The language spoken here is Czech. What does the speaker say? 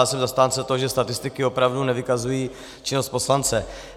Já jsem zastánce toho, že statistiky opravdu nevykazují činnost poslance.